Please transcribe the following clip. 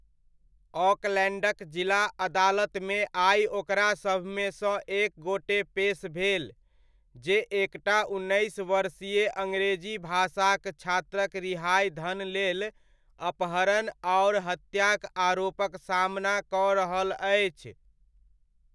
ऑकलैण्डक जिला अदालतमे आइ ओकरा सभमेसँ एक गोटे पेस भेल, जे एकटा उन्नैस वर्षीय अङरेजी भाषाक छात्रक रिहाइ धन लेल अपहरण आओर हत्याक आरोपक सामना कऽ रहल अछि।